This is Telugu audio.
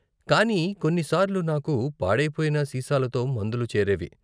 కానీ కొన్ని సార్లు నాకు పాడయిపోయిన సీసాలతో మందులు చేరేవి.